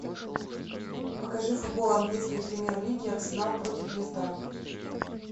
покажи футбол английской премьер лиги арсенал против лестера